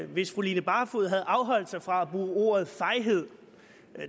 hvis fru line barfod havde afholdt sig fra at bruge ordet fejhed